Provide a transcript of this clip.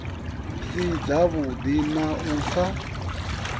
si dzavhuḓi na u sa